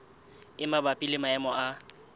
e mabapi le maemo a